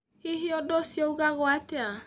Hihi ũndũ ũcio ugagwo atĩa?